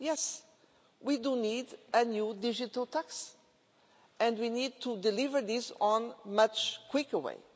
Yes, we do need a new digital tax and we need to deliver this in a much quicker way.